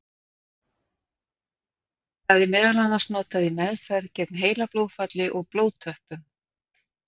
Það er meðal annars notað í meðferð gegn heilablóðfalli og blóðtöppum.